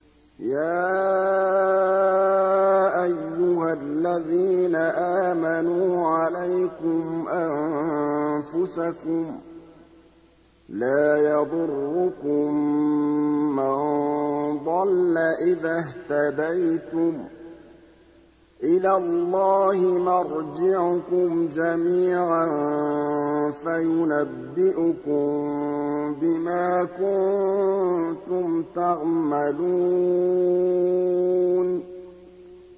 يَا أَيُّهَا الَّذِينَ آمَنُوا عَلَيْكُمْ أَنفُسَكُمْ ۖ لَا يَضُرُّكُم مَّن ضَلَّ إِذَا اهْتَدَيْتُمْ ۚ إِلَى اللَّهِ مَرْجِعُكُمْ جَمِيعًا فَيُنَبِّئُكُم بِمَا كُنتُمْ تَعْمَلُونَ